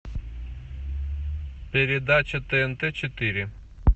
передача тнт четыре